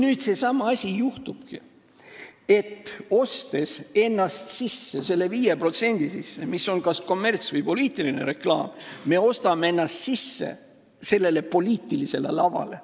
Vaat seesama asi juhtubki, et kui me ostame ennast selle 5% sisse, mis on kas kommerts- või poliitiline reklaam, siis me ostame ennast poliitilisele lavale.